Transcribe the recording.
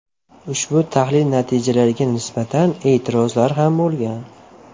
Ushbu tahlil natijalariga nisbatan e’tirozlar ham bo‘lgan .